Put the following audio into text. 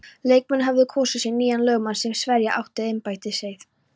Leikmenn höfðu kosið sér nýjan lögmann sem sverja átti embættiseið.